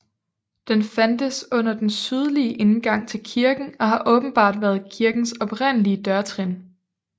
Den fandtes under den sydlige indgang til kirken og har åbenbart været kirkens oprindelige dørtrin